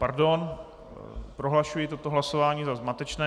Pardon, prohlašuji toto hlasování za zmatečné.